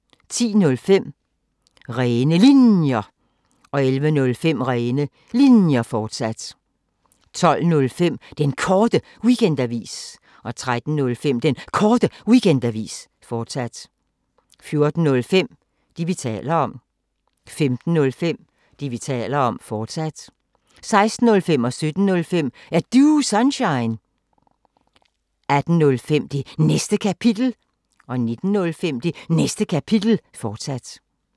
10:05: Rene Linjer 11:05: Rene Linjer, fortsat 12:05: Den Korte Weekendavis 13:05: Den Korte Weekendavis, fortsat 14:05: Det, vi taler om 15:05: Det, vi taler om, fortsat 16:05: Er Du Sunshine? 17:05: Er Du Sunshine? 18:05: Det Næste Kapitel 19:05: Det Næste Kapitel, fortsat